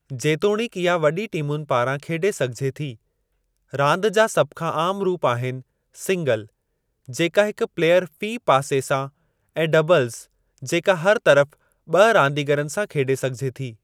जेतोणीकि इहा वॾी टीमुनि पारां खेॾे सघिजे थी। रांदि जा सभ खां आम रूप आहिनि सिंगल जेका हिक प्लेयर फ़ी पासे सां ऐं डबलज़ जेका हर तरफ़ ॿ रांदीगरनि सां खेॾे सघिजे थी।